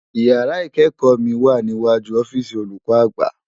Ìyàrá ikèékò mi wá niwájú òfisi ólúkò ágbá